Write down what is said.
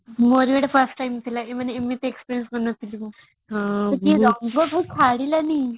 ମୋର ଏଇଟା first time ଥିଲା ମାନେ ଏମିତି experience କରିନଥିଲି ମୁ ଏଇ ରଙ୍ଗ ଜମା ଛାଡିଲାନି